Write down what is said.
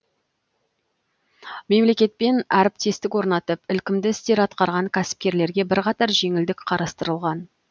мемлекетпен әріптестік орнатып ілкімді істер атқарған кәсіпкерлерге бірқатар жеңілдік қарастырылған